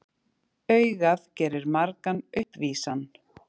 Augað gerir margan uppvísan.